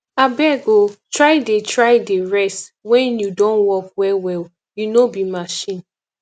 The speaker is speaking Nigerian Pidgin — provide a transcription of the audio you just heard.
abeg o try dey try dey rest wen you don work wellwell you no be machine